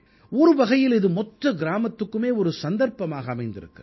ஒருவகையில் இது மொத்த கிராமத்துக்குமே ஒரு சந்தர்ப்பமாக அமைந்திருக்கிறது